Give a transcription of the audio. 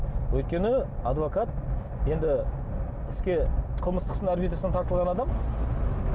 өйткені адвокат енді іске қылмыстық тартылған адам